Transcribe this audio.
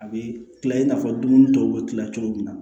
A bɛ kila i n'a fɔ dumuni dɔw bɛ kila cogo min na